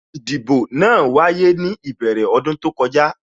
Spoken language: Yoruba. Ìdìbò náà wáyé ní ìbẹ̀rẹ̀ ọdún tó kọjá